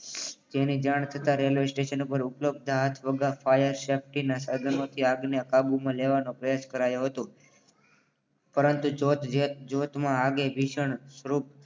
તેની જાણ થતા રેલવે સ્ટેશન પર ઉભા ઉપલબ્ધ ફાયર સેફ્ટી ના સાધનો થી આગને કાબુમાં લેવાનો પ્રયાસ કરાયો હતો. પરંતુ ભીષણ સ્વરૂપ